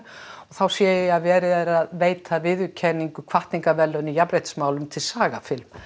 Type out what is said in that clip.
þá sé ég að verið er að veita viðurkenningu hvatningarverðlaun í jafnréttismálum til SagaFilm